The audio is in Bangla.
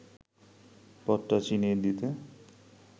পথটা চিনিয়ে দিতে